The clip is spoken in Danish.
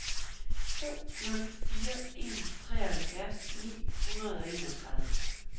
to nul fire en treoghalvfjerds ni hundrede og enogtredive